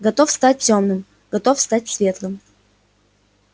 готов стать тёмным готов стать светлым